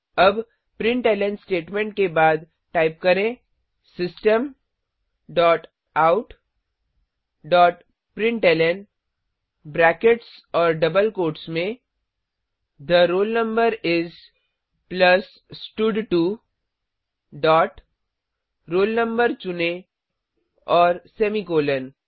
अब println statement के बाद टाइप करें system dot out dot println brackets और डबल कोट्स में थे रोल नंबर इस प्लस स्टड2 डॉट roll no चुनें और सेमीकॉलन